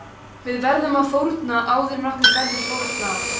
Við verðum að fórna áður en okkur verður fórnað.